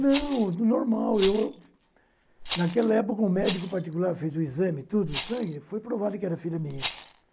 Não, normal, eu... eu naquela época, o médico particular fez o exame, tudo, sangue, foi provado que era filha minha.